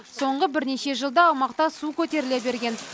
соңғы бірнеше жылда аумақта су көтеріле берген